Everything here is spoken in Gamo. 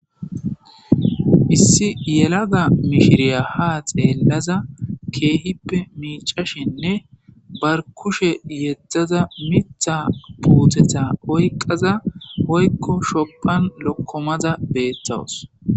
issi yelaga mishiriya ha xeellaza keehippe miicashinne bar kushe yeddzaza mitha puuthetha oyqaza hoykko shoqan lokkomaza beettawus